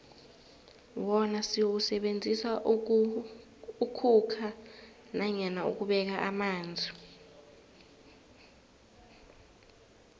wona siwusebenzisela ukhukha nanyana ukubeka amanzi